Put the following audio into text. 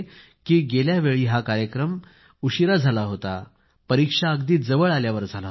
गेल्या वेळी हा कार्यक्रम उशिरा झाला होता परीक्षा अगदी जवळ आल्यावर झाला होता